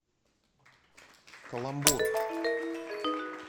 каламбур